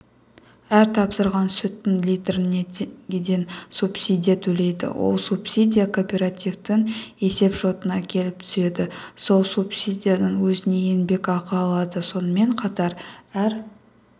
әр тапсырған сүттің литріне теңгеден субсидия төлейді ол субсидия кооперативтің есепшотына келіп түседі сол субсидиядан өзіне еңбекақы алады сонымен қатар әр